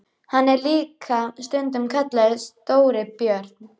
Hann er líka stundum kallaður Stóri björn.